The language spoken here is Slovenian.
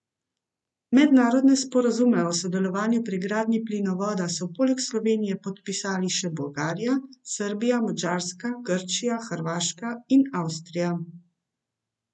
Mednarodne sporazume o sodelovanju pri gradnji plinovoda so poleg Slovenije podpisale še Bolgarija, Srbija, Madžarska, Grčija, Hrvaška in Avstrija.